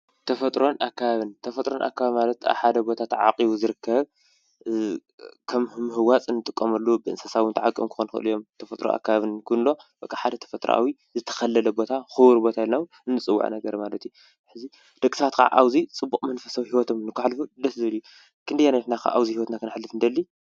ተፈጥሮን ኣከባብን ማለት ኣብ ሓደ ቦታ ተዓቂቡ ዝርከብ ከም ንምህዋፅ ንጥቀመሉ ብእንስሳ እዉን ዝተዓቀቡ ክኮኑ ይክእሉ እዮም :: ተፈጥሮ ኣከባቢ እንብሎ ሓደ ተፈጥርኣዊ ዝተከለለ ቦታ ክቡር ቦታ ኢልና እዉን እንፅዉዖ ነገር ማለት እዩ:: ደቂ ሰባት ከዓ ኣብዚ ፅቡቅ መንፈሳዊ ሂወቶም ንከሕልፉ ደስ ዝብል እዩ ክንደየናይ ኢናከ ኣብዚ ሂወትና ክነሕልፍ ንደሊ?